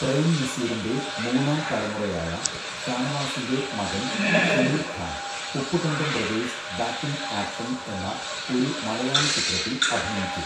പ്രേം നസീറിൻ്റെ മൂന്നാംതലമുറയായ, ഷാനവാസിൻ്റെ മകൻ Shameer Khan, 'Uppukandam brothers back in action' എന്ന ഒരു മലയാള ചിത്രത്തിൽ അഭിനയിച്ചു.